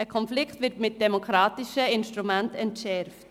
Ein Konflikt wird mit demokratischen Instrumenten entschärft.